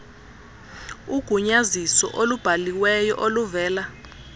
ugunyaziso olubhaliweyo oluvela